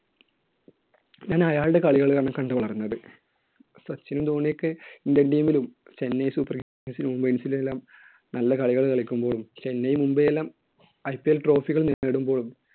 ഞാൻ അയാളുടെ കളികൾ ആണ് കണ്ടുവളർന്നത്. സച്ചിനും ധോണിയൊക്കെ Indian team ലും Chennai Super Kings ലുമെല്ലാം നല്ല കളികൾ കളിക്കുമ്പോഴും ചെന്നൈ, മുംബൈ എല്ലാം IPL trophy കൾ നേടുമ്പോഴും